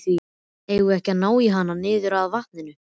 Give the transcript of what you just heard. Eigum við ekki að ná í hann niður að vatni?